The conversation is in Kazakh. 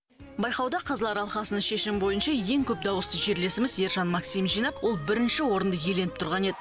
байқауда қазылар алқасының шешімі бойынша ең көп дауысты жерлесіміз ержан максим жинап ол бірінші орынды иеленіп тұрған еді